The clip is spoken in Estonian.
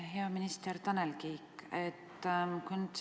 Hea minister Tanel Kiik!